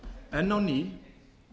enn á ný